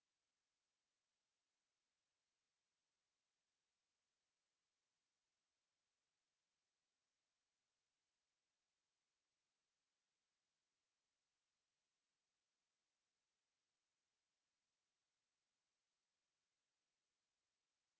আমরাবিভিন্ন দৈর্ঘ্যের ব্যবধান রাখতে পারি উদাহরণস্বরূপ পরবর্তী লাইেন যাওয়া যাক